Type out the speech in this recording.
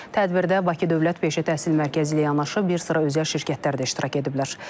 Tədbirdə Bakı Dövlət Peşə Təhsil Mərkəzi ilə yanaşı bir sıra özəl şirkətlər də iştirak ediblər.